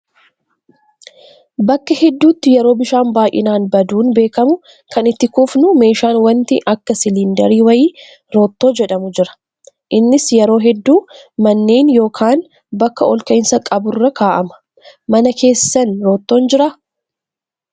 Bakka hedduutti yeroo bishaan baay'inaan baduun beekamu kan itti kuufnu meeshaan wanti akka siliindarii wayii roottoo jedhamu jira. Innis yeroo hedduu manneen yookaan bakka ol ka'iinsa qaburra kaa'ama. Mana keessan roottoon jiraa?